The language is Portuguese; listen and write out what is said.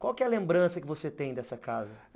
Qual que é a lembrança que você tem dessa casa?